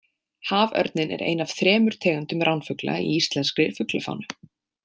Haförninn er ein af þremur tegundum ránfugla í íslenskri fuglafánu.